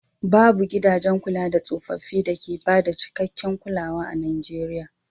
Babu gidajen kula da tsofaffi da ke ba da cikakken kulawa a Nijeriya.